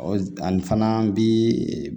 Ɔ ani fana bi